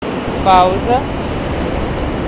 пауза